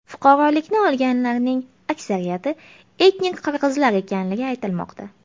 Fuqarolikni olganlarning aksariyati etnik qirg‘izlar ekanligi aytilmoqda.